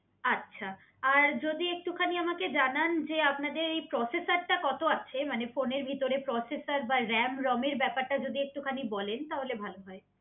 আচ্ছা আর যদি একটুখানি আমাকে জানান যে আপনাদের এই প্রসেসারটা কত আছে? মানে ফোনের ভিতরে প্রসেসের বা RAM ROM এর ব্যাপারটা যদি একটুখানি বলেন তাহলে ভালো হয়